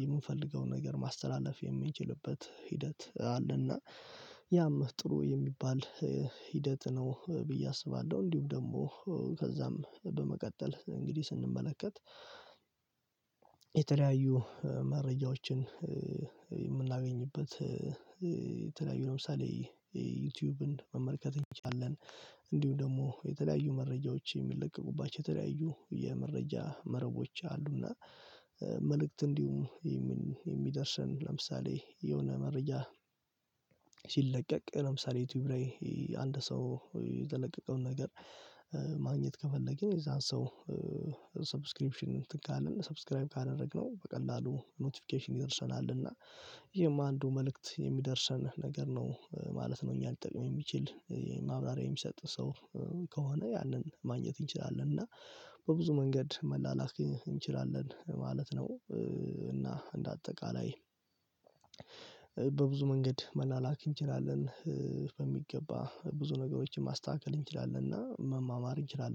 የምንፈልገው ነገር ማስተላለፍ የምንችልበት ሂደት አለና ያም ጥሩ የሚባል ሂደት ነው። ብዬ አስባለሁ። እንዲሁም ደግሞ ከዛም በመቀጠል እንግዲህ ስንመለከት የተለያዩ መረጃዎችን የምናገኝበት የተለያዩ ለምሳሌ ዩቱብን መመልከት እንችላለን። እንዲሁም ደግሞ የተለያዩ መረጃዎች የሚለቀቁባቸው የተለያዩ የመረጃ መረቦች አሉ። እና መልእክት እንዲሁም የሚደርሰን ለምሳሌ የሆነ መረጃ ሲለቀቅ ለምሳሌ ዩቱብ ላይ አንድ ሰው የለቀቀውን ነገር ማግኘት ከፈለግን የዛን ሰው ሰብስክሪፕሽን እንትን ካልን ሰብስክራይብ ካደረግነው በቀላሉ ኖቲፊኬሽን ይደርሰናል። እና ይሄም አንዱ መልእክት የሚደርሰን ነገር ነው ማለት ነው። እኛ ሊጠቅም የሚችል ማብራሪያ የሚሰጥ ሰው ከሆነ ያንን ማግኘት እንችላለን። እና በብዙ መንገድ መላላክ እንችላለን ማለት ነው። እና እንደ አጠቃላይ በብዙ መንገድ መላላክ እንችላለን በሚገባ ብዙ ነገሮችን ማስተካከል እንችላለን እና መማማር እንችላለን